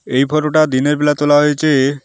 এই ফোটোটা দিনের বেলা তোলা হয়েছে।